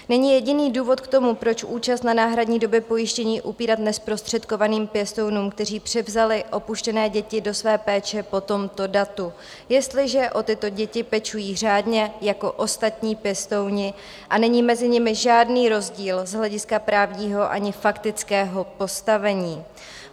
Není jediný důvod k tomu, proč účast na náhradní době pojištění upírat nezprostředkovaným pěstounům, kteří převzali opuštěné děti do své péče po tomto datu, jestliže o tyto děti pečují řádně jako ostatní pěstouni a není mezi nimi žádný rozdíl z hlediska právního ani faktického postavení.